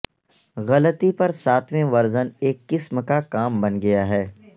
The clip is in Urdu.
غلطی پر ساتویں ورژن ایک قسم کا کام بن گیا ہے